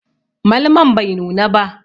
Malmon bai nuna ba.